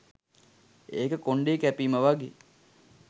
ඒක කොන්ඩේ කැපීම වගේ